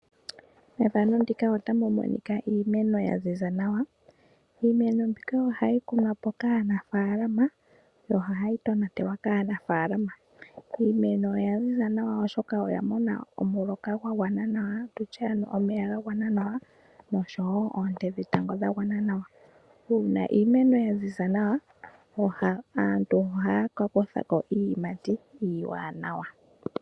Methano ndika otamu monika iimeno ya ziza nawa. Iimeno mbika ohayi kunwa po kaanafaalama yo ohayi tonatelwa kaanafaalama . Iimeno oya ziza nawa oshoka oya mona omuloka gwa gwana nawa tutye ano omeya ga gwana nawa noshowo oonte dhetango dha gwana nawa. Uuna iimeno yaziza nawa aantu ohaya ka kuthako iiyimati iiwanawa.